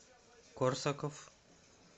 корсаков